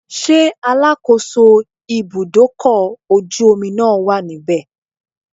Ṣé alákòóso ibúdókọ̀ ojú omi náà wà níbẹ̀?